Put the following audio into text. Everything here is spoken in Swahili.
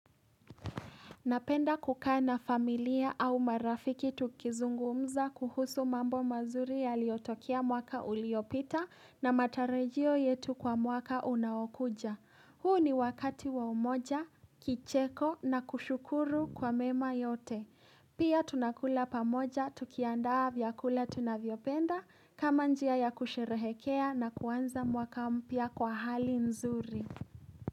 Napenda kukaa na familia au marafiki tukizungumza kuhusu mambo mazuri yaliotokea mwaka uliopita na matarajio yetu kwa mwaka unaokuja. Huu ni wakati wa umoja, kicheko na kushukuru kwa mema yote. Pia tunakula pamoja tukiandaa vyakula tunavyopenda kama njia ya kusherehekea na kuanza mwaka mpya kwa hali nzuri.